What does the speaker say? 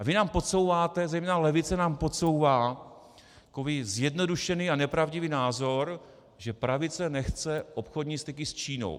A vy nám podsouváte - zejména levice nám podsouvá - takový zjednodušený a nepravdivý názor, že pravice nechce obchodní styky s Čínou.